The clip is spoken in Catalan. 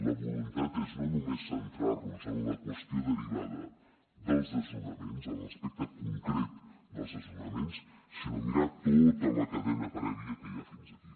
la voluntat és no només centrar nos en la qüestió derivada dels desnonaments en l’aspecte concret dels desnonaments sinó mirar tota la cadena prèvia que hi ha fins aquí